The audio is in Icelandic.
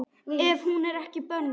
Ef hún er ekki bönnuð.